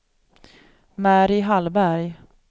Mary Hallberg